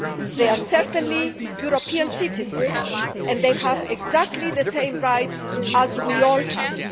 They are certainly European citizens and they have exactly the same rights as we all have.